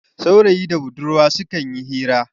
saurayi da budurwa sukan yi hira